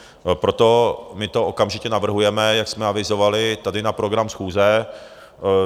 Proto my to okamžitě navrhujeme, jak jsme avizovali tady na program schůze.